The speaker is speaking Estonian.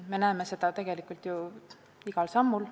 Me näeme seda tegelikult ju igal sammul.